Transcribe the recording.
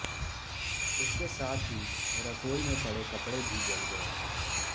इसके साथ ही रसोई में पड़े कपड़े भी जल गए हैं